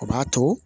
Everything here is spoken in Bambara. O b'a to